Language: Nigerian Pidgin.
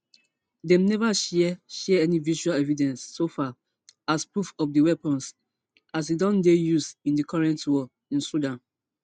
dem neva share share any visual evidence so far as proof of di weapons as e don dey used in di current war in sudan